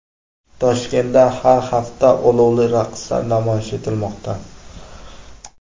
Toshkentda har hafta olovli raqslar namoyish etilmoqda .